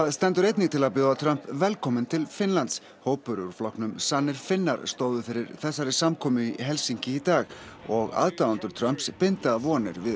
stendur einnig til að bjóða Trump velkominn til Finnlands hópur úr flokknum sannir Finnar stóðu fyrir þessari samkomu í Helsinki í dag og aðdáendur Trumps binda vonir við